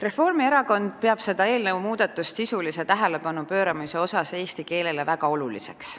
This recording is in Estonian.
Reformierakond peab seda muudatust, mis pöörab sisulist tähelepanu eesti keelele, väga oluliseks.